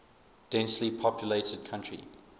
densely populated country